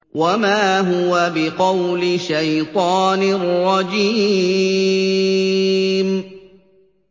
وَمَا هُوَ بِقَوْلِ شَيْطَانٍ رَّجِيمٍ